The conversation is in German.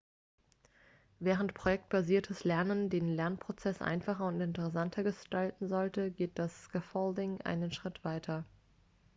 während projektbasiertes lernen den lernprozess einfacher und interessanter gestalten sollte geht das scaffolding einen schritt weiter